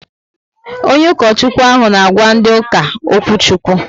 Onye ukochukwu ahụ n' àgwà ndị uka okwuchukwu